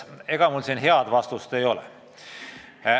Ega mul tarka vastust anda ei ole.